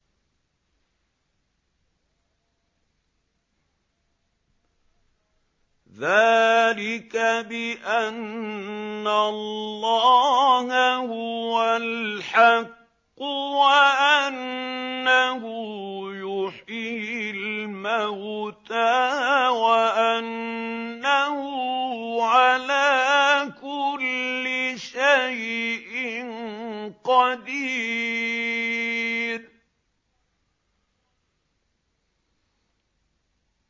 ذَٰلِكَ بِأَنَّ اللَّهَ هُوَ الْحَقُّ وَأَنَّهُ يُحْيِي الْمَوْتَىٰ وَأَنَّهُ عَلَىٰ كُلِّ شَيْءٍ قَدِيرٌ